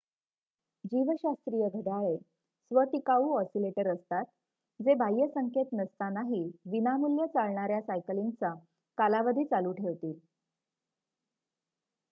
जीवशास्त्रीय घड्याळे स्व-टिकाऊ ऑसिलेटर असतात जे बाह्य संकेत नसतानाही विनामूल्य चालणार्‍या सायकलिंगचा कालावधी चालू ठेवतील